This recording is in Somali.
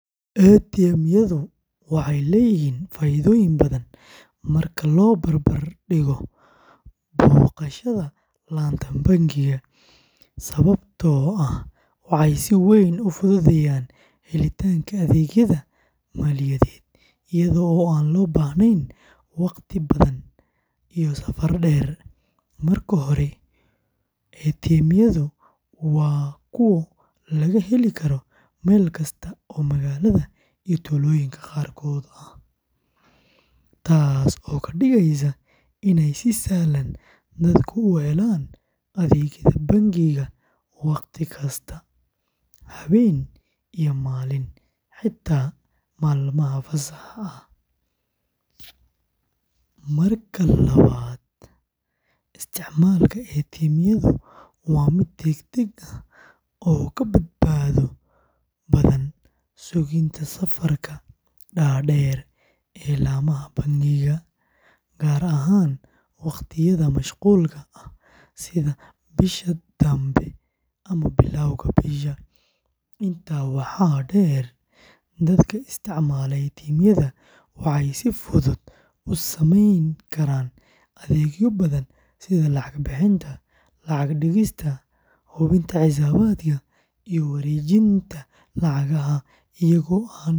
ATM-yadu waxay leeyihiin faa’iidooyin badan marka loo barbar dhigo booqashada laanta bangiga, sababtoo ah waxay si weyn u fududeeyaan helitaanka adeegyada maaliyadeed iyada oo aan loo baahnayn wakhti badan iyo safar dheer. Marka hore, ATM-yadu waa kuwo laga heli karo meel kasta oo magaalada iyo tuulooyinka qaarkood ah, taasoo ka dhigaysa inay si sahlan dadku u helaan adeegyada bangiga wakhti kasta, habeen iyo maalin, xitaa maalmaha fasaxa ah. Marka labaad, isticmaalka ATM-yadu waa mid degdeg ah oo ka badbaado badan sugitaanka safafka dhaadheer ee laamaha bangiga, gaar ahaan waqtiyada mashquulka ah sida bisha dambe ama bilowga bisha. Intaa waxaa dheer, dadka isticmaala ATM-yada waxay si fudud u sameyn karaan adeegyo badan sida lacag bixinta, lacag dhigista, hubinta xisaabaadka, iyo wareejinta lacagaha iyagoo aan la kulmin shaqaale.